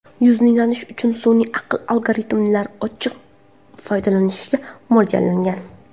Yuzni tanish uchun sun’iy aql algoritmlari ochiq foydalanishga mo‘ljallangan.